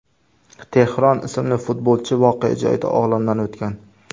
Tehron ismli futbolchi voqea joyida olamdan o‘tgan.